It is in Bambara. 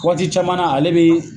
kɔti caman na ale bee